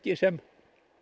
sem